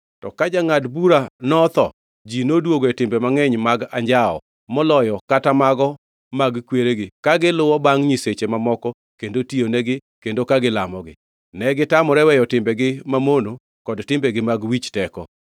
To ka jangʼad bura notho, ji noduogo e timbe mangʼeny mag anjawo moloyo kata mago mag kweregi, ka giluwo bangʼ nyiseche mamoko kendo tiyonegi kendo ka gilamogi. Negitamore weyo timbegi mamono kod timbegi mag wich teko.